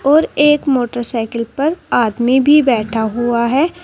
और एक मोटरसाइकिल पर आदमी भी बैठा हुआ है।